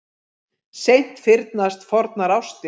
Seint fyrnast fornar ástir.